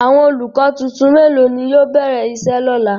Awọn olukọ tuntun melo ni yóò bẹrẹ iṣe lọla?